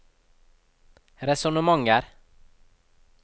resonnementer